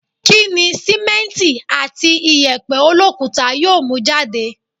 Kí ni sìmẹ́nti àti ìyẹ̀pẹ̀ olókuta yóò mú jáde?